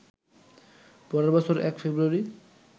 পরের বছর ১ ফেব্রুয়ারি